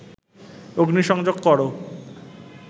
অগ্নি সংযোগ কর